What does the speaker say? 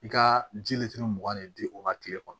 I ka ji mugan de di o ma kile kɔnɔ